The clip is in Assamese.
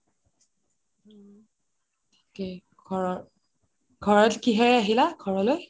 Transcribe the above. okay ঘৰত, ঘৰত কিহেৰে আহিলা ঘৰলৈ